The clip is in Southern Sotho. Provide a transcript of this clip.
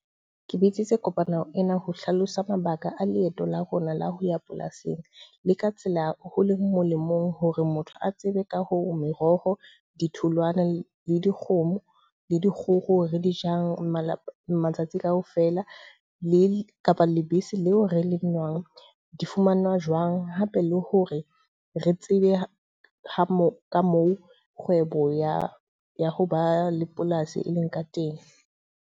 Ke bitsitse kopano ena ho hlalosa mabaka a leeto la rona la ho ya polasing. Le ka tsela ho leng molemong hore motho a tsebe ka hore meroho, ditholwana, le dikgomo, le dikgoho re di jang mala matsatsi ka ofela. Le kapa lebese leo re le nwang di fumanwa jwang. Hape le hore re tsebe ho mo ka moo kgwebo ya ya ho ba le polasi e leng ka teng.